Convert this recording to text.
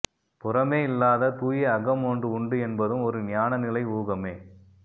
புறமே இல்லாத தூய அகம் ஒன்று உண்டு என்பதும் ஒரு ஞானநிலை ஊகமே